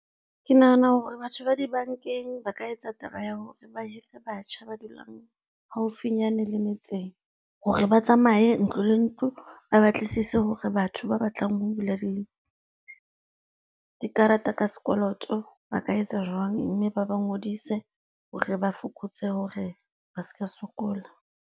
Ke nahana hore batho ba dibankeng ba ka etsa taba ya hore ba hire batjha ba dulang haufinyane le metseng hore ba tsamaye ntlo le ntlo, ba batlisise hore batho ba batlang ho bula di karata ka sekoloto ba ka etsa jwang mme ba ba ngodise hore ba fokotse hore ba seka sokola.